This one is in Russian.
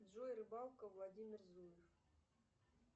джой рыбалка владимир зуев